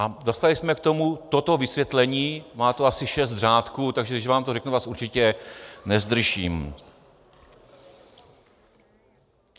A dostali jsme k tomu toto vysvětlení, má to asi šest řádků, takže když vám to řeknu, vás určitě nezdržím.